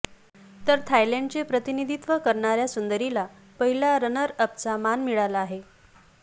तर थायलॅंडचे प्रतिनिधीत्व करणाऱ्या सुंदरीला पहिला रनरअपचा मान मिळाला आहे